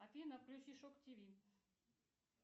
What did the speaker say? афина включи шок тв